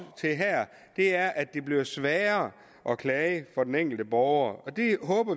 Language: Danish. til her er er at det bliver sværere at klage for den enkelte borger